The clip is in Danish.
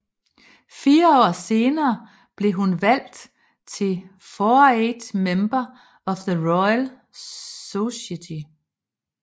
Fire år senere blev hun valgt til Foreign Member of the Royal Society